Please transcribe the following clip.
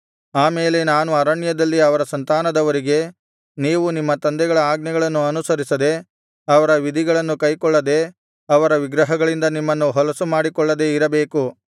ಆ ಮೇಲೆ ನಾನು ಅರಣ್ಯದಲ್ಲಿ ಅವರ ಸಂತಾನದವರಿಗೆ ನೀವು ನಿಮ್ಮ ತಂದೆಗಳ ಆಜ್ಞೆಗಳನ್ನು ಅನುಸರಿಸದೆ ಅವರ ವಿಧಿಗಳನ್ನು ಕೈಕೊಳ್ಳದೆ ಅವರ ವಿಗ್ರಹಗಳಿಂದ ನಿಮ್ಮನ್ನು ಹೊಲಸು ಮಾಡಿಕೊಳ್ಳದೆ ಇರಬೇಕು